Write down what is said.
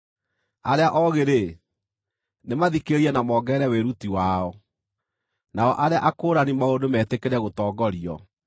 arĩa oogĩ-rĩ, nĩmathikĩrĩrie na mongerere wĩruti wao, nao arĩa akũũrani maũndũ metĩkĩre gũtongorio.